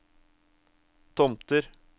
Tomter